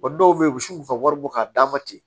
Wa dɔw be yen u bi se k'u ka wari bɔ k'a d'a ma ten